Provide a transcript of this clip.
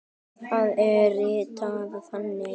Það er ritað þannig